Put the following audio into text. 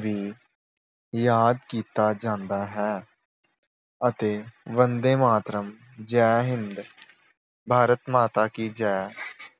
ਵੀ ਯਾਦ ਕੀਤਾ ਜਾਂਦਾ ਹੈ। ਅਤੇ ਬੰਦੇ ਮਾਤਰਮ, ਜੈ ਹਿੰਦ, ਭਾਰਤ ਮਾਤਾ ਕੀ ਜੈ